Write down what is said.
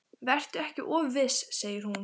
Vertu ekki of viss, segir hún.